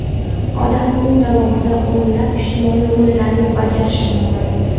Odam kun davomida o‘nlab ijtimoiy rollarni bajarishi mumkin.